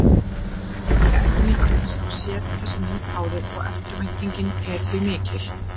Hvorki Edda né Agnes hafa séð þessa mynd áður og eftirvæntingin er því mikill.